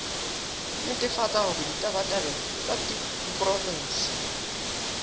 netefatsa hore ditabatabelo tsa diporofensi